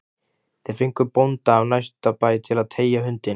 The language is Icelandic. Þeir fengu bónda af næsta bæ til að teygja hundinn